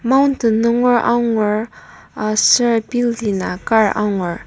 mountain nunger angur aser building a kar angur.